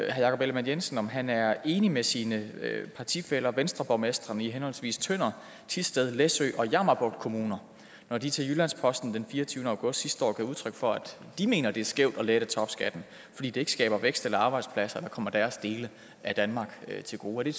jakob ellemann jensen om han er enig med sine partifæller venstreborgmestrene i henholdsvis tønder thisted læsø og jammerbugt kommuner når de til jyllands posten den fireogtyvende august sidste år gav udtryk for at de mener at det er skævt at lette topskatten fordi det ikke skaber vækst eller arbejdspladser og kommer deres dele af danmark til gode